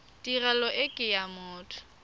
tirelo e ke ya motho